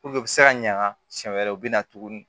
u bɛ se ka ɲaga siɲɛ wɛrɛ u bɛ na tuguni